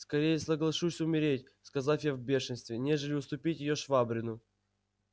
скорее соглашусь умереть сказал я в бешенстве нежели уступить её швабрину